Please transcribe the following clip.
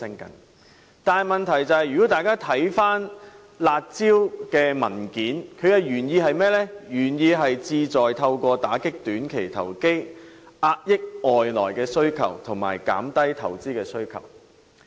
可是，大家看回有關"辣招"的文件便知道，它的原意是旨在透過打擊短期投機，遏抑外來需求及減低投資需求。